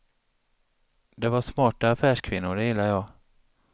De var smarta affärskvinnor, det gillar jag.